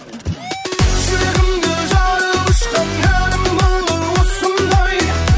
жүрегімді жарып ұшқан әнім бүгін осындай